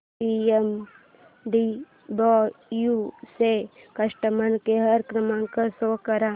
BMW चा customer care क्रमांक show कर